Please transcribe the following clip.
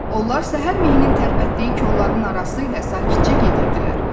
Onlar səhər mehin tərpətdiyi kolların arası ilə sakitcə gedirdilər.